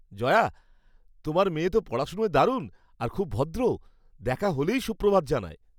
জয়া, তোমার মেয়ে তো পড়াশোনায় দারুণ আর খুব ভদ্রও। দেখা হলেই সুপ্রভাত জানায়।